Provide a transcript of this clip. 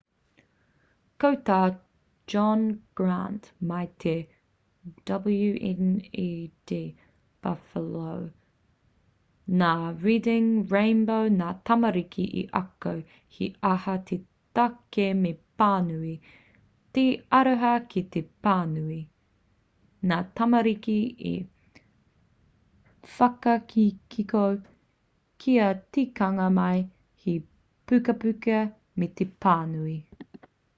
ko tā john grant mai i te wned buffalo te teihana kāinga o reading rainbow nā reading rainbow ngā tamariki i ako he aha te take me pānui,... te aroha ki te pānui - [nā te hōtaka] ngā tamariki i whakahihiko kia tīkina mai he pukapuka me te pānui.